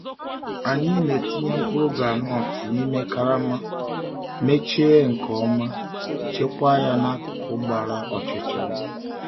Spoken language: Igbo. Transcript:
Anyị na-etinye mkpụrụ gwụndnut n’ime karama, mechie nke ọma, chekwaa ya n’akụkụ gbara ọchịchịrị.